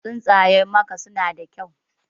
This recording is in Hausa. Tsuntsayen maka suna da kyau.